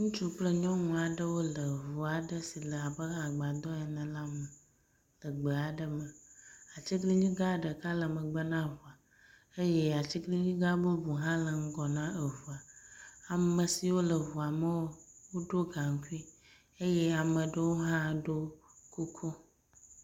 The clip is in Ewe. Ŋutsu kple nyɔnu aɖewo le ŋu aɖe si le abe agbadɔ ene la me le gbe aɖe me. Atiglinyi gã ɖeka le megbe na ŋua eye atiglinyi gã ɖeka hã le ŋgɔ na eŋua. Ame siwo le ŋua me woɖɔ gaŋkui eye ame ɖewo hã ɖɔ kuku.